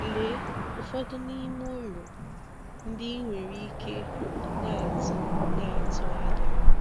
Lee ụfọdụ n’ime ùrù ndị ị nwere ike na-atụ na-atụ ànyà: